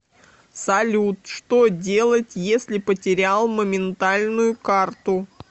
салют что делать если потерял моментальную карту